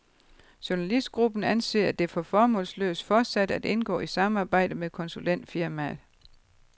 Journalistgruppen anser det for formålsløst fortsat at indgå i samarbejdet med konsulentfirmaet.